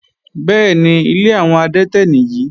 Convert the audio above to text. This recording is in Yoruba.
Bẹ́ẹ̀ni, ilé àwọn adẹ́tẹ̀ nìyí.